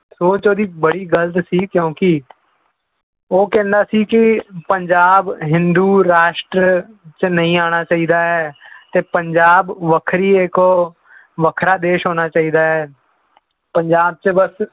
ਸੋਚ ਉਹਦੀ ਬੜੀ ਗ਼ਲਤ ਸੀ ਕਿਉਂਕਿ ਉਹ ਕਹਿੰਦਾ ਸੀ ਕਿ ਪੰਜਾਬ ਹਿੰਦੂ ਰਾਸ਼ਟਰ 'ਚ ਨਹੀਂ ਆਉਣਾ ਚਾਹੀਦਾ ਹੈ ਤੇ ਪੰਜਾਬ ਵੱਖਰੀ ਇੱਕ ਵੱਖਰਾ ਦੇਸ ਹੋਣਾ ਚਾਹੀਦਾ ਹੈ ਪੰਜਾਬ 'ਚ ਬਸ